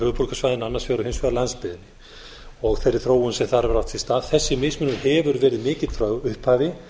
höfuðborgarsvæðinu annars vegar og hins vegar landsbyggðinni og þeirri þróun sem þar hefur átt sér stað þessi mismunur hefur verið mikill frá upphafi